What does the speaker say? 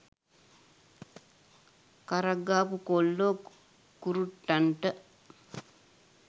කරක් ගහපු කොල්ලො කුරුට්ටන්ට